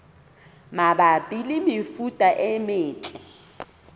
mabapi le mefuta e metle